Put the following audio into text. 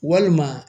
Walima